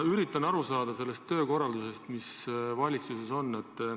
Ma üritan aru saada sellest töökorraldusest, mis valitsuses on.